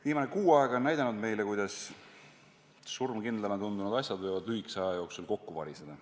Viimased kuu aega on näidanud meile, kuidas surmkindlana tundunud asjad võivad lühikese aja jooksul kokku variseda.